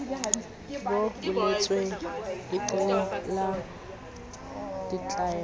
bo boletsweng leqepheng la ditaelo